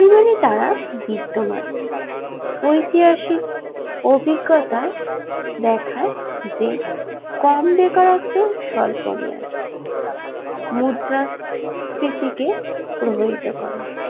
মানে তারা বৃদ্ধমান ঐতিহাসিক অভিজ্ঞতায় দেখায় যে কম বেকারত্ব স্বল্পমেয়াদ মুদ্রাস্ফীতি কে প্রভাবিত করে